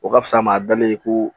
O ka fisa maa dalen ye ko